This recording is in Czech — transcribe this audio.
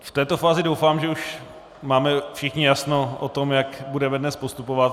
V této fázi doufám, že už máme všichni jasno o tom, jak budeme dnes postupovat.